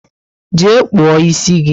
Jee kpuo ịsị gị!